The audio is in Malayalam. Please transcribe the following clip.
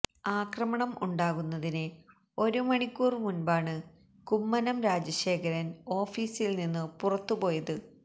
ആക്രമണം ഉണ്ടാകുന്നതിന് ഒരു മണിക്കൂര് മുന്പാണ് കുമ്മനം രാജശേഖരന് ഓഫിസില് നിന്നു പുറത്തു പോയത്